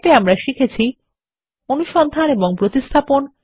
সংক্ষেপে আমরা শিখেছি অনুসন্ধান এবং প্রতিস্থাপন